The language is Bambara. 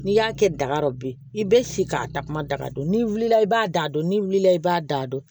N'i y'a kɛ daga dɔ ye i bɛ se k'a takuma daga don n'i wulila i b'a da dɔn ni wulila i b'a da dɔn